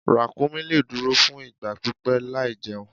Ràkúnmí lè dúró fún ìgbà pípẹ́ láìjẹun.